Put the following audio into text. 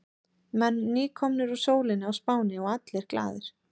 Menn nýkomnir úr sólinni á Spáni og allir glaðir.